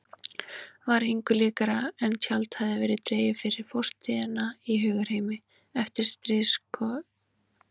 Var engu líkara en tjald hefði verið dregið fyrir fortíðina í hugarheimi eftirstríðskynslóðarinnar.